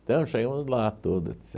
Então, chegamos lá, tudo,